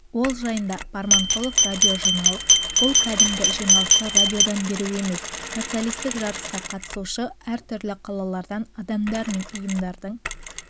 ол жайында барманқұлов радиожиналыс бұл кәдімгі жиналысты радиодан беру емес социалистік жарысқа қатысушы әртүрлі қалалардан адамдар мен ұйымдардың